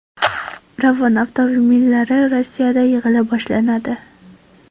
Ravon avtomobillari Rossiyada yig‘ila boshlanadi.